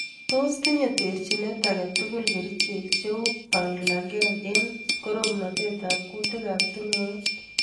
Tos tinyei terjinet ake tugul kerijek cheu banlagen eng koromnatet ab kutik ab tungwek.